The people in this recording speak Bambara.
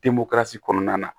Den bɔlasi kɔnɔna na